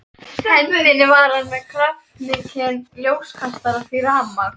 hendinni var hann með kraftmikinn ljóskastara því rafmagn